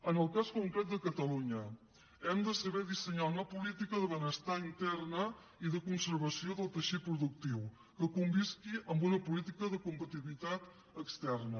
en el cas concret de catalunya hem de saber dissenyar una política de benestar interna i de conservació del teixit productiu que convisqui amb una política de competitivitat externa